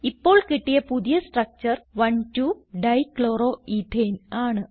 ഇപ്പോൾ കിട്ടിയ പുതിയ സ്ട്രക്ചർ 12 ഡൈക്ലോറോയേത്തേൻ ആണ്